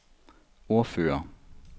ordfører